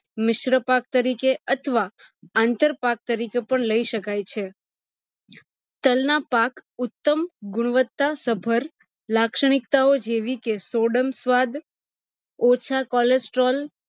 મિશ્ર પાક તરીકે અથવા અંતર પાક તરીકે પણ લઇ શકાય છે, તલ ના પાક, ઉત્તમ ગુણવત્તા સભર લક્ષનીક્તાઓ જેવી કે સ્વાદ ઓછા cholesterol